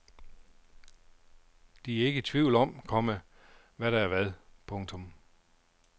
De er ikke i tvivl om, komma hvad der er hvad. punktum